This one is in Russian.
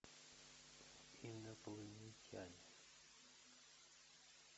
инопланетяне